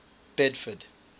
bedford